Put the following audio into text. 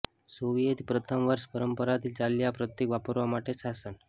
Soviet પ્રથમ વર્ષ પરંપરાથી ચાલ્યા પ્રતિક વાપરવા માટે શાસન